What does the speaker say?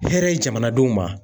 Hɛrɛ ye jamanadenw ma.